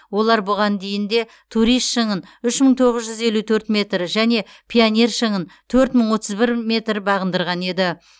олар бұған дейін де турист шыңын үш мың тоғыз жүз елу төрт метр және пионер шыңын төрт мың отыз бір метр бағындырған еді